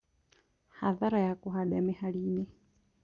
Hathara ya kũhanda mĩhari-inĩ